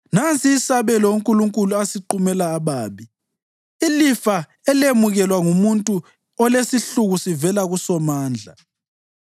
Nansi isabelo uNkulunkulu asiqumela ababi, ilifa elemukelwa ngumuntu olesihluku sivela kuSomandla: